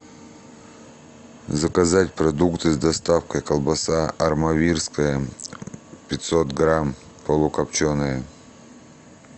заказать продукты с доставкой колбаса армавирская пятьсот грамм полукопченая